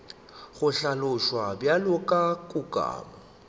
go hlaloswa bjalo ka kukamo